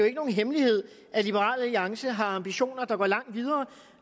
ikke nogen hemmelighed at liberal alliance har ambitioner der går langt videre